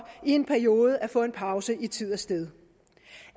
i en periode at få en pause i tid og sted